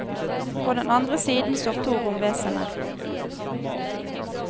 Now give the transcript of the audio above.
På den andre siden står to romvesener.